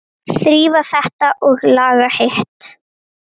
Þrífa þetta og laga hitt.